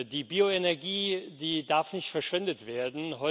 Die Bioenergie darf nicht verschwendet werden.